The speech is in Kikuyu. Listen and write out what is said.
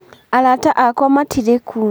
Arata akwa matirĩ kuo